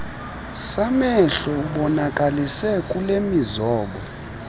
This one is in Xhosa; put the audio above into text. samehlo ubonakalise kulemizobo